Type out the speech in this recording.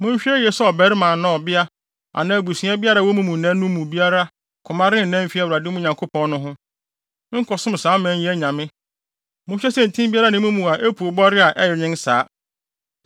Monhwɛ yiye sɛ ɔbarima anaa ɔbea anaa abusua biara a ɛwɔ mo mu nnɛ no mu biara koma rennan mfi Awurade, mo Nyankopɔn no, ho nkɔsom saa aman yi anyame; monhwɛ sɛ ntin biara nni mo mu a epuw bɔre a ɛyɛ nwen saa.